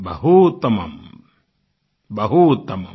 बहूत्तमम् बहूत्तमम्